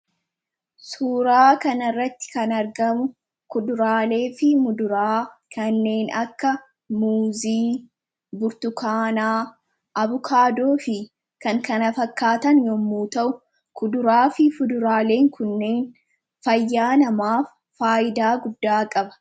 Suuraa kanirratti kan argamu kuduraalee fi muduraa kanneen akka muuzii burtukaanaa abukaadoo fi kan kanafakkaatan yommuu ta'u kuduraa fi fuduraaleen kunneen fayyaa namaaf faayidaa guddaa qaba.